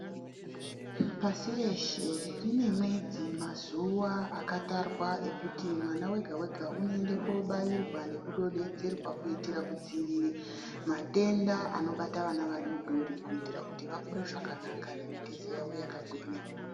Pashi reshe rine mwedzi mazuva akatarwa ekuti mwana oga oga anoenda kobairirwa nekudonhedzerwa kudzivirira matenda anobata vana vadodori kuita kuti vakure zvakanaka nemitezo yakagwinya.